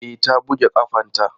E, ta buge ƙafanta.